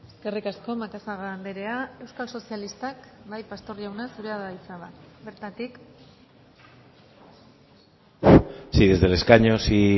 eskerrik asko macazaga andrea euskal sozialistak bai pastor jauna zurea da hitza bertatik sí desde el escaño si